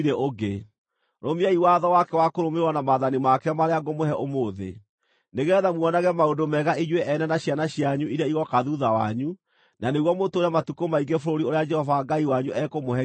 Rũmiai watho wake wa kũrũmĩrĩrwo na maathani make marĩa ngũmũhe ũmũthĩ, nĩgeetha muonage maũndũ mega inyuĩ ene na ciana cianyu iria igooka thuutha wanyu, na nĩguo mũtũũre matukũ maingĩ bũrũri ũrĩa Jehova Ngai wanyu ekũmũhe nginya tene.